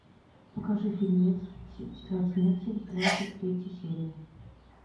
покажи фильмец тетрадь смерти двадцать третья серия